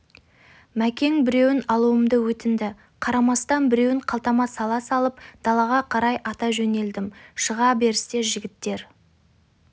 мәкең біреуін алуымды өтінді қарамастан біреуін қалтама сала салып далаға қарай ата жөнелдім шыға берісте жігіттер